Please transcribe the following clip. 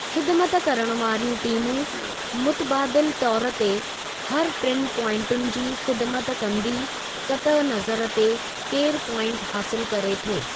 ख़िदिमत करणु वारियूं टीमूं मुतबादिल तौर ते हर टिनि प्वाइंटुन जी ख़िदिमत कंदी कतअ नज़र ते केरु प्वाइंट हासिलु करे थो।